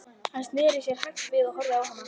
Hann sneri sér hægt við og horfði á hana.